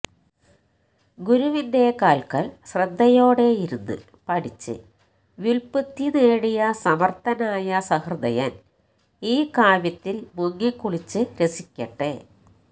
ഗുരുവിന്റെ കാല്ക്കല് ശ്രദ്ധയോടെയിരുന്ന് പഠിച്ച് വ്യുല്പത്തി നേടിയ സമര്ഥനായ സഹൃദയന് ഈ കാവ്യത്തില് മുങ്ങിക്കുളിച്ച് രസിക്കട്ടെ